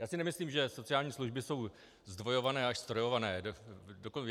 Já si nemyslím, že sociální služby jsou zdvojované až ztrojované.